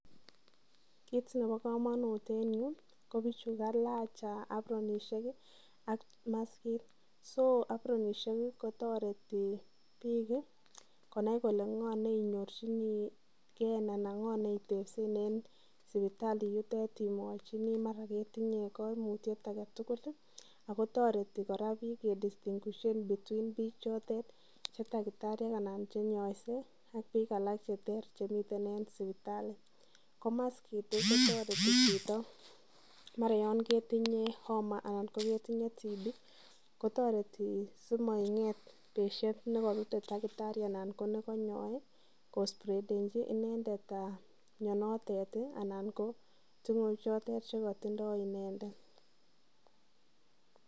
Kit nebo kamanut en yu ko bichu kailach abronisiek ak maskit so abronisiek kotoreti bik konai kole ngo ne inyorchinige anan ngo neitebsen en sipitali yutet Imuch ketinye kaimutyet age tugul ago toreti kora bik Ke distinguishen bik Che takitariek anan Che inyoise ak bik alak Che ter chemi en sipitali ko maskit kotoreti chito yon ketinye Homa anan ko ketinye tb kotoreti simaket chito nekokinyoe keswechi inendet mianoto anan ko tingoek choton Che katindoi inendet